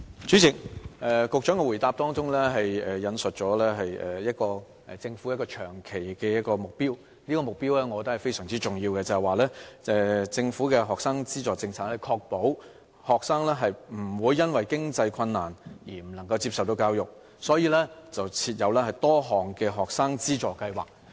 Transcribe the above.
主席，局長的答覆引述了政府一個長期的目標，我覺得這個目標是非常重要的，因為政府的學生資助政策的目的是確保學生不會因為經濟困難，而不能夠接受教育，所以設有多項學生資助計劃。